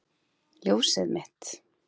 Ljósið mitt.